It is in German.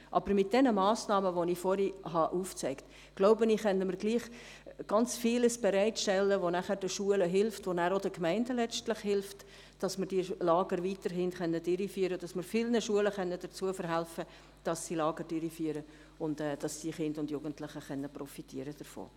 Aber mit den Massnahmen, die ich vorhin aufgezeigt habe, glaube ich, dass wir ganz vieles bereitstellen, das den Schulen und letztlich auch den Gemeinden hilft, damit wir die Lager weiterhin durchführen können, dass wir vielen Schulen dazu verhelfen können, dass sie Lager durchführen und Kinder und Jugendliche davon profitieren können.